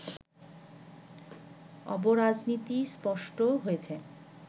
অব-রাজনীতি স্পষ্ট হয়েছে